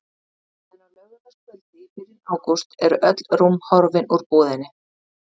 En á laugardagskvöldi í byrjun ágúst eru öll rúm horfin úr búðinni.